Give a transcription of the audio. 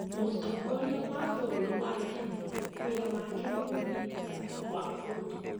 Mũtongoria wa bũrũri wa kenya wĩra wake nĩ gũthii nja wa bũrũri